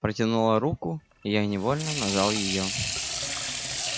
протянула руку и я невольно нажал её